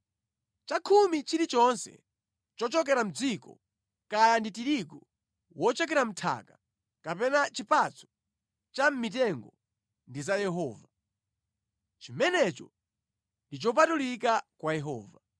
“ ‘Chakhumi chilichonse chochokera mʼdziko, kaya ndi tirigu wochokera mʼnthaka kapena chipatso cha mʼmitengo ndi za Yehova. Chimenecho ndi chopatulika kwa Yehova.